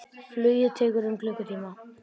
Flugið tekur um klukkutíma.